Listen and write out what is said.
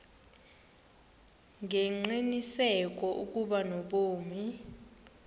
ngengqiniseko ukuba unobomi